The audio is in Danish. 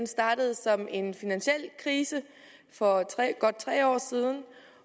startede som en finansiel krise for godt tre år siden